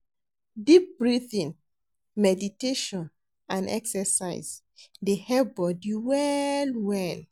Deep breathing, meditation, and exercise dey help body well well.